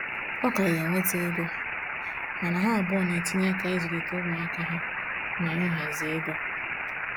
Ọ ka ya enweta ego, mana ha abụọ na-etinye aka izulita umuaka ha na ịhazi ego